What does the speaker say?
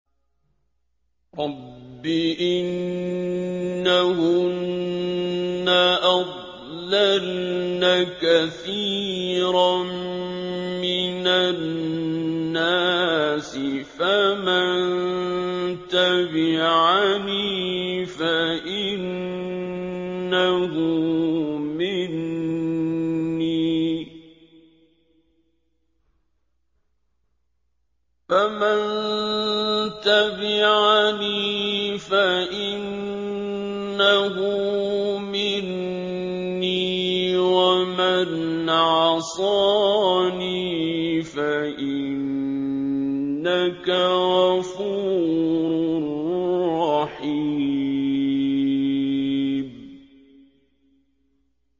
رَبِّ إِنَّهُنَّ أَضْلَلْنَ كَثِيرًا مِّنَ النَّاسِ ۖ فَمَن تَبِعَنِي فَإِنَّهُ مِنِّي ۖ وَمَنْ عَصَانِي فَإِنَّكَ غَفُورٌ رَّحِيمٌ